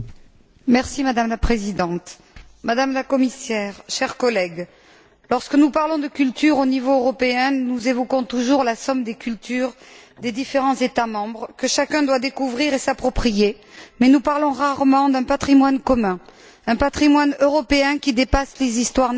Madame la Présidente, Madame la Commissaire, chers collègues, lorsque nous parlons de culture au niveau européen, nous évoquons toujours la somme des cultures des différents États membres que chacun doit découvrir et s'approprier, mais nous parlons rarement d'un patrimoine commun, d'un patrimoine européen qui dépasse les histoires nationales,